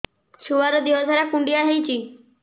ଛୁଆର୍ ଦିହ ସାରା କୁଣ୍ଡିଆ ହେଇଚି